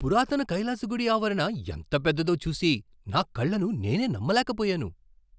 పురాతన కైలాస గుడి ఆవరణ ఎంత పెద్దదో చూసి నా కళ్ళను నేనే నమ్మలేకపోయాను.